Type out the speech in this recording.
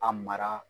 A mara